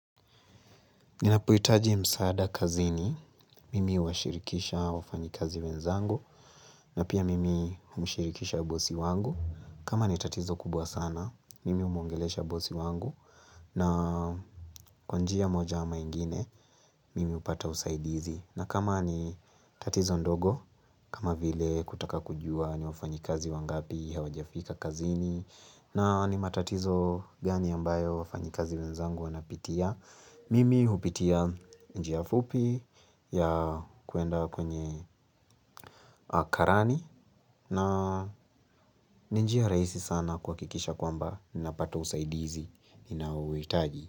Ninaphohitaji msaada kazini, mimi huwashirikisha wafanyikazi wenzangu, na pia mimi umshirikisha bosi wangu. Kama ni tatizo kubwa sana, mimi huongelesha bosi wangu, na kwa njia moja ama ingine, mimi hupata usaidizi. Na kama ni tatizo ndogo, kama vile kutaka kujua ni wafanyikazi wangapi hawajafika kazini, na ni matatizo gani ambayo wafanyikazi wenzangu wanapitia, Mimi hupitia njia fupi ya kuenda kwenye karani na ni njia rahisi sana kuhakikisha kwamba ninapata usaidizi ninaohuitaji.